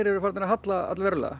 eru farin að halla allverulega